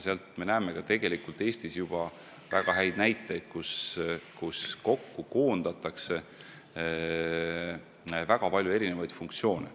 Meil on tegelikult Eestiski väga häid näiteid, kuidas koondatakse kokku väga palju erinevaid funktsioone.